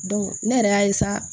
ne yɛrɛ y'a